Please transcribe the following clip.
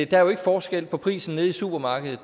der er jo ikke forskel på prisen nede i supermarkedet